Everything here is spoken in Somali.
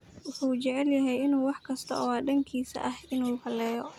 Muxuu jecelyahy inuu wax kasto wa dankisa eh inu haleyo.